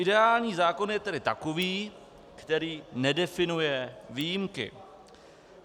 Ideální zákon je tedy takový, který nedefinuje výjimky.